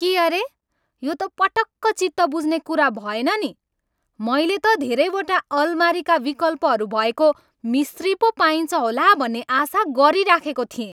के अरे? यो त पटक्क चित्त बुझ्ने कुरा भएन नि! मैले त धेरैवटा अलमारीका विकल्पहरू भएको मिस्त्री पो पाइन्छ होला भन्ने आशा गरिराखेको थिएँ।